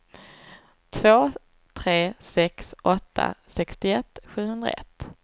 två tre sex åtta sextioett sjuhundraett